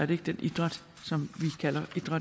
det ikke den idræt som